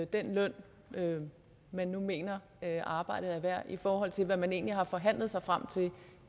den løn man nu mener arbejdet er værd i forhold til hvad man nu egentlig har forhandlet sig frem til